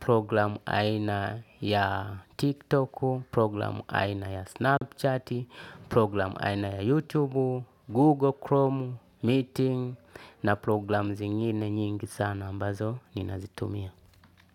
programu aina ya TikTok, programu aina ya Snapchat, programu aina ya YouTube, Google Chrome, Meeting na program zingine nyingi sana ambazo ninazitumia.